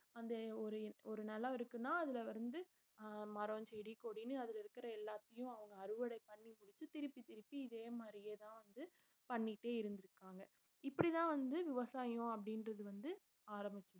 அந்த ஒரு ஒரு நிலம் இருக்குன்னா அதுல வந்து அஹ் மரம் செடி கொடின்னு அதுல இருக்கற எல்லாத்தையும் அவங்க அறுவடை பண்ணி முடிச்சு திருப்பி திருப்பி இதே மாதிரியேதான் வந்து பண்ணிட்டே இருந்திருக்காங்க இப்படித்தான் வந்து விவசாயம் அப்படின்றது வந்து ஆரம்பிச்சது